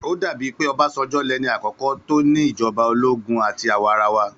Ó dà pé Ọbásanjọ́ lẹni àkọ́kọ́ tó ní ìjọba ológún àti àwarawa.